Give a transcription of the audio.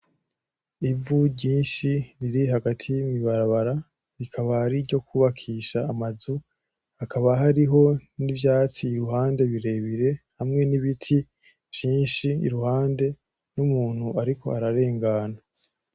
Ivu ryinshi riri hagati mw'ibarabara rikaba ariryo kwubakisha amazu hakaba hariho n'ivyatsi iruhande birebire hamwe n'ibiti vyinshi iruhande n'umuntu ariko ararengana.